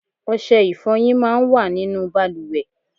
Ọṣẹ ifọyin máa ń wà nínú bàlùwẹ̀.